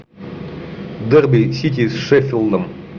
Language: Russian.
дерби сити с шеффилдом